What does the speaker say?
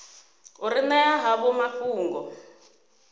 u ri ṅea havho mafhungo